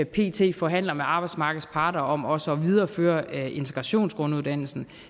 pt forhandler med arbejdsmarkedets parter om også at videreføre integrationsgrunduddannelsen